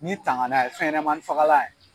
Ni tangana ye fɛnɲɛnɛmanin fagalan ye